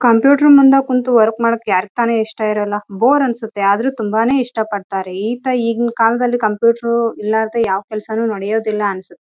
ಇಲ್ಲಿ ಒಂದು ಟೇಬಲ್ ಇದೆ ಇಲ್ಲಿ ಒಬ್ಬರು ನಿಂತುಕೊಂಡು ಕೆಲಸ ಮಾಡುತ್ತಿದ್ದಾರೆ ಇಲ್ಲೆಲ್ಲಾ ಬಲೂನ್ ಗಳೆಲ್ಲ ಹಾಕಿದ್ದಾರೆ.